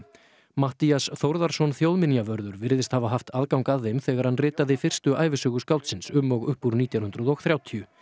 Matthías Þórðarson þjóðminjavörður virðist hafa haft aðgang að þeim þegar hann ritaði fyrstu ævisögu skáldsins um og upp úr nítján hundruð og þrjátíu